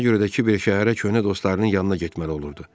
Buna görə də kiber şəhərə köhnə dostlarının yanına getməli olurdu.